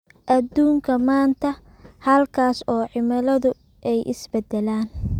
Adduunka maanta, halkaas oo cimiladu ay isbeddelaan.